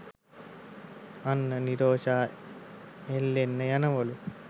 අන්න නිරෝෂා එල්ලෙන්න යනවලු.